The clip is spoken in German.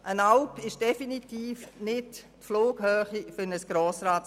Eine Alp sei definitiv nicht die Flughöhe für ein Geschäft des Grossen Rats.